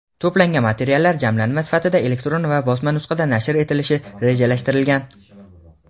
To‘plangan materiallar jamlanma sifatida elektron va bosma nusxada nashr etilishi rejalashtirilgan.